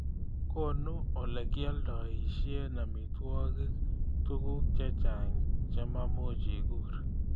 konu olegialdoishen amitwogik tuguk chechang chemuuch iguur